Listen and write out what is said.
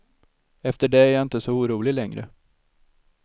Efter det är jag inte så orolig längre.